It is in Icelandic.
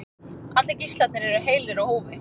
Allir gíslarnir eru heilir á húfi